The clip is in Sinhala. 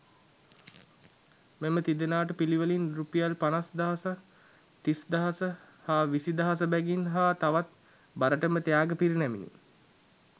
මෙම තිදෙනාට පිළිවෙලින් රුපියල් පනස් දහස තිස් දහස හා විසි දහස බැගින් හා තවත් බරටම ත්‍යාග පිරිනැමිණි.